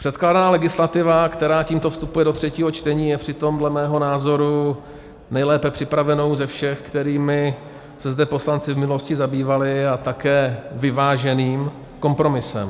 Předkládaná legislativa, která tímto vstupuje do třetího čtení, je přitom dle mého názoru nejlépe připravenou ze všech, kterými se zde poslanci v minulosti zabývali, a také vyváženým kompromisem.